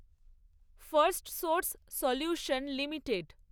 Firstsource solution limited